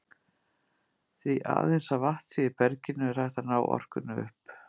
Því aðeins að vatn sé í berginu er hægt að ná orkunni upp.